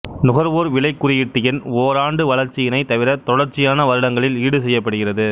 நுகர்வோர் விலை குறியீட்டு எண் ஓராண்டு வளர்ச்சியினைத் தவிர தொடர்ச்சியான வருடங்களில் ஈடுசெய்யப்படுகிறது